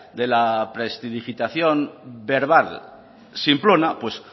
de verbal simplona